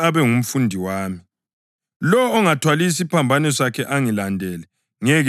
Lowo ongathwali isiphambano sakhe angilandele ngeke abe ngumfundi wami.